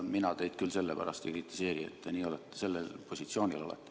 Mina teid küll sellepärast ei kritiseeri, et te sellel positsioonil olete.